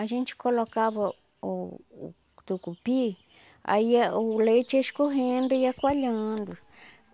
A gente colocava o o tucupi, aí o leite ia escorrendo e ia coalhando.